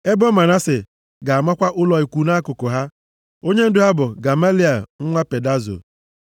Ebo Manase ga-amakwa ụlọ ikwu nʼakụkụ ha. Onyendu ha bụ Gamaliel nwa Pedazo.